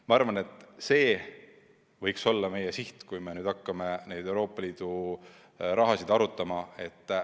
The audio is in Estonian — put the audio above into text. Ma arvan, et see võiks olla meie siht, kui hakkame Euroopa Liidu raha jagamist arutama.